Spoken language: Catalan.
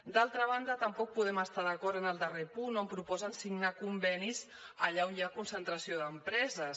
d’altra banda tampoc podem estar d’acord en el darrer punt on proposen signar convenis allà on hi ha concentració d’empreses